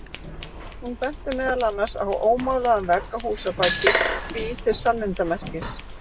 Hún benti meðal annars á ómálaðan vegg að húsabaki, því til sannindamerkis.